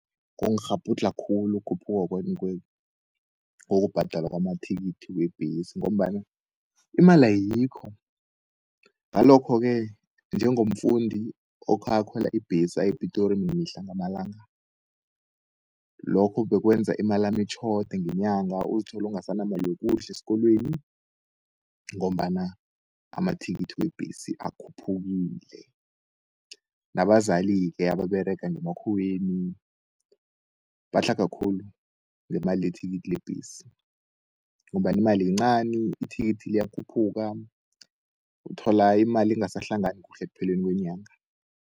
Kungirhabhudlha khulu ukhuphuka kokubhadalwa kwamathikithi webhesi, ngombana imali ayikho. Ngalokho-ke njengomfundisi okhakhwela ibhesi ayePitori mihla namalanga, lokho bekwenza imalami itjhode ngenyanga, uzithola ungasanamalu ukudle esikolweni, ngombana amathikithi kwebhesi akhuphukile. Nabazali-ke ababerega ngemakhuweni batlhaga khulu ngemali yethikithi lebhesi, ngombana imali yincani ithikithi liyakhuphuka, uthola imali ingasahlangani kuhle ekupheleni kwenyanga.